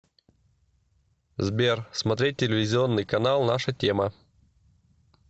сбер смотреть телевизионный канал наша тема